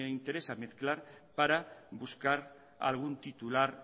interesa mezclar para buscar algún titular